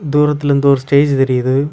தூரத்திலிருந்து ஒரு ஸ்டேஜு தெரியுது.